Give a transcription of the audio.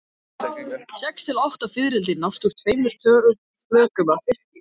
Sex til átta fiðrildi nást úr tveimur flökum af fiski.